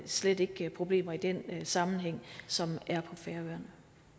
slet ikke problemer i den sammenhæng som er på færøerne